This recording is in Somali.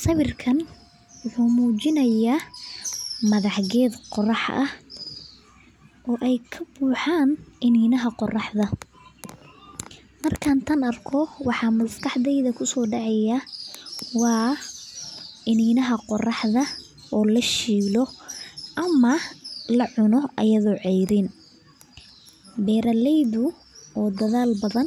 Sawiirkaan wuxuu mujinaaya madax geed qorax ah oo aay kabuxaan ininaha qoraxda, waxaa maskaxda kusoo dacay ininaha oo lashiiday, beeraleyda oo dadaal badan